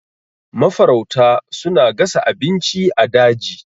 Mafarauta suna gasa abinci a daji.